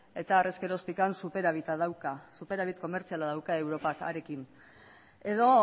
eta harez geroztik superabita dauka superabit komertziala dauka europar harekin edo